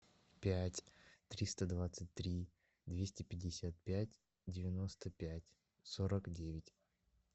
пять триста двадцать три двести пятьдесят пять девяносто пять сорок девять